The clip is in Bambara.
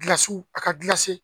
Gilsiw a ka gilase